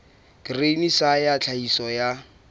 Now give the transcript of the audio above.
grain sa ya tlhahiso ya